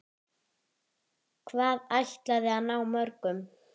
Hvað ætliði að ná mörgum?